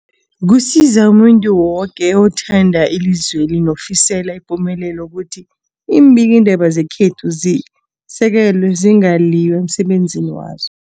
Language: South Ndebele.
Kusiza umuntu woke othanda ilizweli nolifisela ipumelelo ukuthi iimbikiindaba zekhethu zisekelwe, zingaliywa emsebenzini wazo.